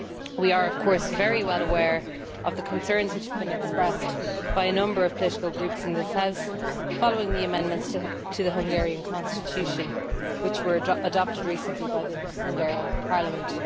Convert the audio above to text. We are of course very well aware of the concerns which have been expressed by a number of political groups in this House following the amendments to the Hungarian constitution which were adopted recently by the Hungarian Parliament.